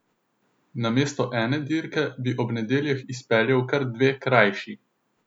Namesto ene dirke bi ob nedeljah izpeljal kar dve krajši.